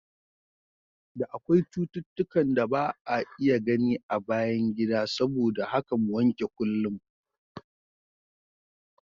Da akwai cututtukan da ba'a iya gani a bayan gida saboda haka mu wanke kullum.